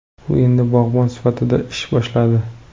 U endi bog‘bon sifatida ish boshladi.